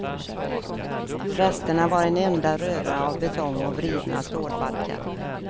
Resterna var en enda röra av betong och vridna stålbalkar.